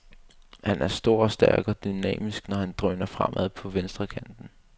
Han er stor og stærk og dynamisk, når han drøner fremad på venstrekanten.